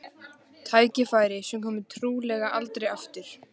Tækifæri sem komi trúlega aldrei aftur.